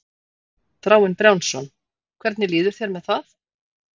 Þráinn Brjánsson: Hvernig líður þér með það?